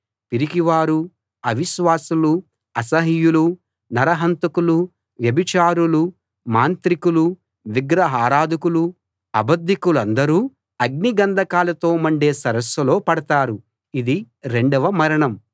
పిరికివారూ అవిశ్వాసులూ అసహ్యులూ నరహంతకులూ వ్యభిచారులూ మాంత్రికులూ విగ్రహారాధకులూ అబద్ధికులందరూ అగ్ని గంధకాలతో మండే సరస్సులో పడతారు ఇది రెండవ మరణం